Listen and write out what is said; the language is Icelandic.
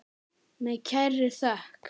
Með kærri þökk.